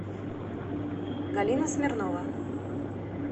галина смирнова